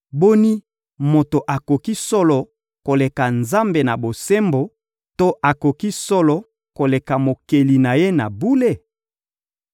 ‹Boni, moto akoki solo koleka Nzambe na bosembo to akoki solo koleka Mokeli na ye na bule?